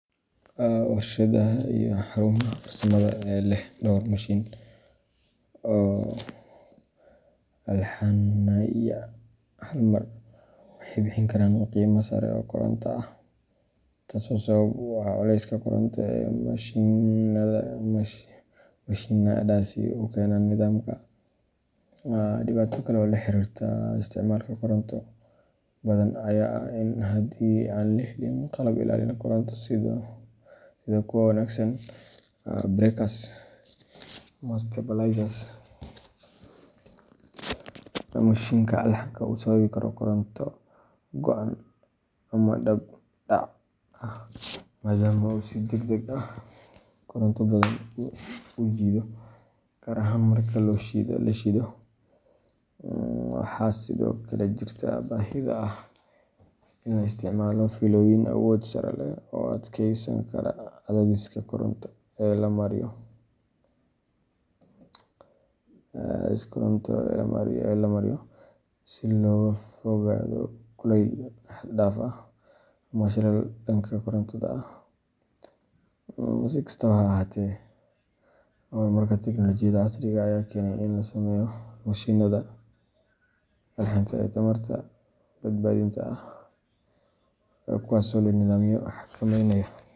Warshadaha iyo xarumaha farsamada ee leh dhowr mashiin oo alxanaya hal mar waxay bixin karaan qiime sare oo koronto ah, taasoo sabab u ah culayska koronto ee mashiinnadaasi ku keenaan nidaamka. Dhibaato kale oo la xiriirta isticmaalka koronto badan ayaa ah in haddii aan la helin qalab ilaalin koronto sida kuwo wanagsan. breakers ama stabilizers, mashiinka alxanka uu sababi karo koronto go’an ama dab dhac ah, maadaama uu si degdeg ah koronto badan u jiido, gaar ahaan marka la shido. Waxaa sidoo kale jirta baahida ah in la isticmaalo fiilooyin awood sare leh oo adkeysan kara cadaadiska koronto ee la mariyo, si looga fogaado kulayl xad dhaaf ah ama shilal dhanka korontada ah. Si kastaba ha ahaatee, horumarka tiknoolajiyada casriga ah ayaa keenay in la sameeyo mashiinnada alxanka ee tamarta-badbaadinta ah, kuwaasoo leh nidaamyo xakameynaya.